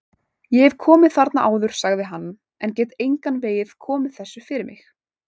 Ég hef komið þarna áður sagði hann, en get engan veginn komið þessu fyrir mig